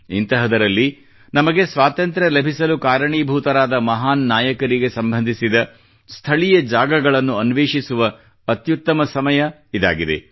ಇಂತಹದರಲ್ಲಿ ನಮಗೆ ಸ್ವಾತಂತ್ರ್ಯ ಲಭಿಸಲು ಕಾರಣೀಭೂತರಾದ ಮಹಾನ್ ನಾಯಕರಿಗೆ ಸಂಬಂಧಿಸಿದ ಸ್ಥಳೀಯ ಜಾಗಗಳನ್ನು ಅನ್ವೇಷಿಸುವ ಅತ್ಯುತ್ತಮ ಸಮಯ ಇದಾಗಿದೆ